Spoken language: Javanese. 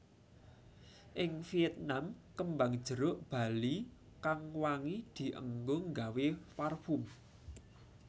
Ing Vietnam kembang jeruk bali kang wangi dienggo nggawe farfum